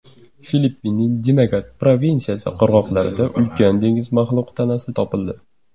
Filippinning Dinagat provinsiyasi qirg‘oqlarida ulkan dengiz maxluqi tanasi topildi.